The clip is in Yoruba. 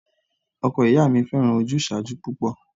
Ọkọ ìyá mi fẹ́ràn ojúsàájú púpọ̀